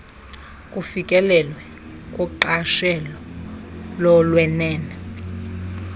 kufikelelwe kuqashelo lokwenene